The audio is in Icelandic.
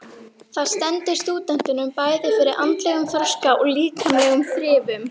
Það stendur stúdentunum bæði fyrir andlegum þroska og líkamlegum þrifum.